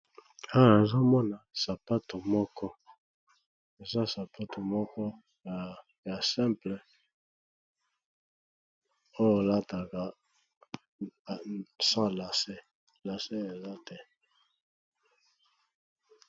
Awa nazomona sapato moko eza sapato moko ya simple oyo alataka sans lace, lace eza te.